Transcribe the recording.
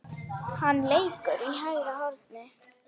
Hann leikur í hægra horni.